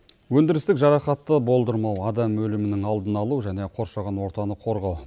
өндірістік жарақатты болдырмау адам өлімінің алдын алу және қоршаған ортаны қорғау